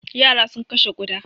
Yara sun kashe ƙuda.